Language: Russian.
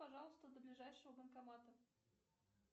пожалуйста до ближайшего банкомата